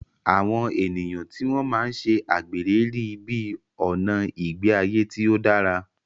Àwọn ènìyàn tí wọ́n máa ń ṣe àgbèrè rí i bí ọ̀nà ìgbé ayé tí ó dára.